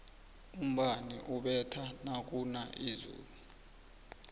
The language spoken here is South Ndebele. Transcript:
umbani ubetha nakuna izulu